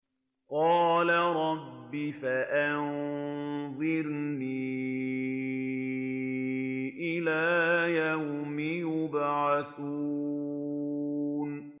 قَالَ رَبِّ فَأَنظِرْنِي إِلَىٰ يَوْمِ يُبْعَثُونَ